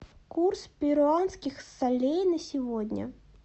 курс перуанских солей на сегодня